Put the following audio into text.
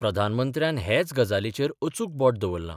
प्रधानमंत्र्यान हेच गजालीचेर अचूक बोट दवरलां.